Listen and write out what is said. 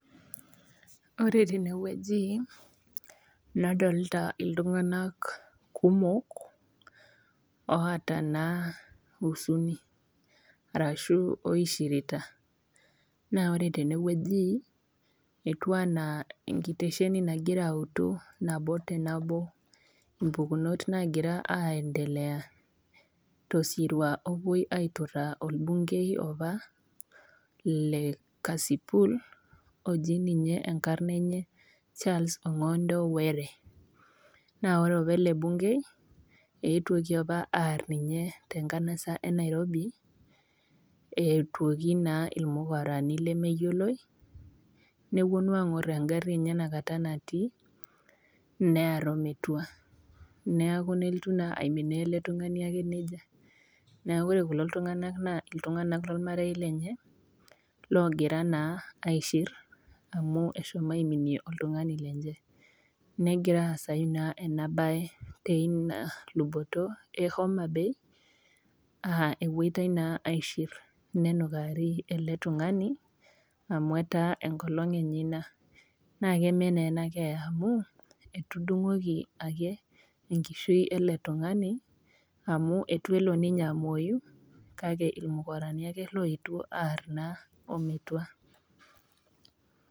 oOre tene wueji nadolita iltung'anak kumok oata naa huzuni arashu naa oishirita. Naa ore tene wueji, etiu anaa enkitesheni nagira autu nabo te nabo impukunot naagira aendelea tosirua oopuoitai aituraa olbungei opa le Kasipul, oji ninye enkarna enye Charles Ong'ondo Were. Naa ore opa ele bung'ei, eetuoki opa aar ninye te enkanasa e Nairobi, eetuoki naa ilmukorani lemeyioloi, nepuonu aang'or engari enye nakata natii near o metua. Neaku naa nelotu ake aiminaa ele tung'ani ake neija. Neaku ore kulo tung'anak na iltung'anak lolmarei lenye loogira naa aishir, amu eshomo aiminie oltung'ani lenye. Negira aasai naa ina baye teina luboto e Homa Bay aa epuoitai naaaishir, nenukaari ele tung'ani, amui etaa enkolong' enye ina. Naake eme naa ena keeya amu, etudung'oki ake enkishui ele tung'ani ake, amu eitu elo ninye amwoyu, kake ilmukorani ake oetuo aar naa ometua.